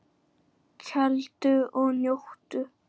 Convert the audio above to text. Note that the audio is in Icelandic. Kældu og njóttu!